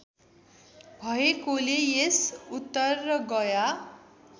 भएकोले यस उत्तरगया